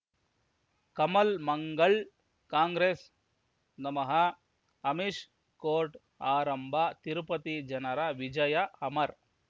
ಕಮಲ್ ಮಂಗಳ್ ಕಾಂಗ್ರೆಸ್ ನಮಃ ಅಮಿಷ್ ಕೋರ್ಟ್ ಆರಂಭ ತಿರುಪತಿ ಜನರ ವಿಜಯ ಅಮರ್